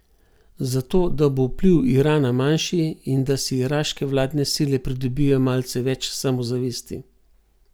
Zato, da bo vpliv Irana manjši in da si iraške vladne sile pridobijo malce več samozavesti.